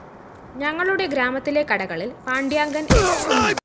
ഞങ്ങളുടെ ഗ്രാമത്തിലെ കടകളില്‍ പാണ്ട്യാങ്കന്‍ സ്‌